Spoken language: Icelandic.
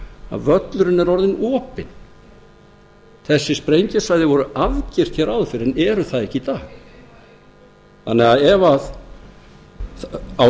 að völlurinn er orðinn opinn þessi sprengjusvæði voru afgirt hér áður fyrr en eru það ekki í dag